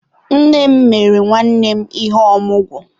Nné m mere nwanne m ihe ọmụgwọ